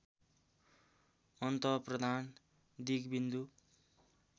अन्त प्रधान दिगविन्दु